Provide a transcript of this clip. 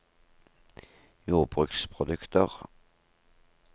jordbruksprodukter